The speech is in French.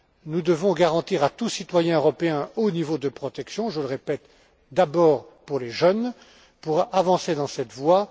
Nous devons garantir à tout citoyen européen un haut niveau de protection je le répète, d'abord pour les jeunes pour avancer dans cette voie.